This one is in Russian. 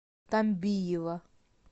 тамбиева